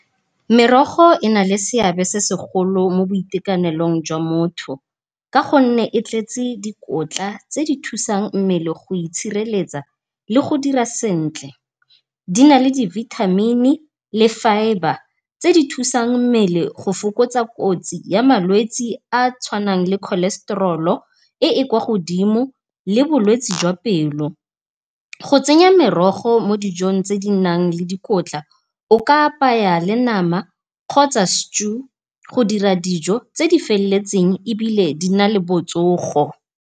Merogo ena le seabe se segolo mo boitekanelong jwa motho, ka gonne e tletse dikotla tse di thusang mmele go itshireletsa le go dira sentle. Di na le di-vitamin-i le fibre tse di thusang mmele go fokotsa kotsi ya malwetse a a tshwanang le cholesterol-o e e kwa godimo le bolwetse jwa pelo. Go tsenya merogo mo dijong tse di nang le dikotla o ka apaya le nama kgotsa stew go dira dijo tse di feleletseng ebile di na le botsogo.